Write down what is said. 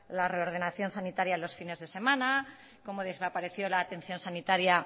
la reordenación sanitaria los fines de semana cómo desapareció la atención sanitaria